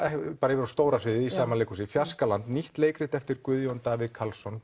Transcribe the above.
yfir á stóra sviðið í sama leikhúsi nýtt leikrit eftir Guðjón Davíð Karlsson